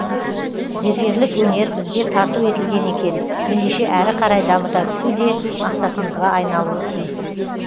зергерлік өнер бізге тарту етілген екен ендеше әрі қарай дамыта түсу де мақсатымызға айналуы тиіс